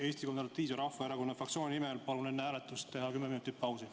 Eesti Konservatiivse Rahvaerakonna fraktsiooni nimel palun enne hääletust teha kümme minutit pausi.